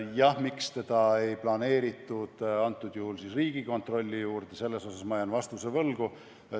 Jah, miks teda ei planeeritud Riigikontrolli juurde, sellele ma jään vastuse võlgu.